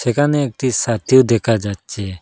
এখানে একটি ছাতিও দেখা যাচ্ছে।